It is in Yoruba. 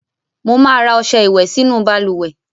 Mo máa ra ọ̀sẹ̀ ìwẹ̀ sínú balùwẹ́